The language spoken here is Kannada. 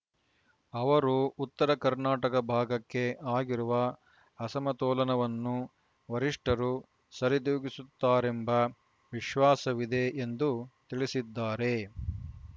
ಅವರು ಉತ್ತರ ಕರ್ನಾಟಕ ಭಾಗಕ್ಕೆ ಆಗಿರುವ ಅಸಮತೋಲನವನ್ನು ವರಿಷ್ಠರು ಸರಿದೂಗಿಸುತ್ತಾರೆಂಬ ವಿಶ್ವಾಸವಿದೆ ಎಂದು ತಿಳಿಸಿದ್ದಾರೆ